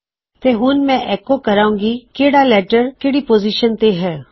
ਤੋ ਹੁਣ ਮੇਂ ਐਕੋ ਕਰਾਂ ਗਾ ਕਿਹੜਾ ਲੇਟਰ ਕਿਹੜੀ ਪੋਜੀਸ਼ਨ ਤੇ ਹੈ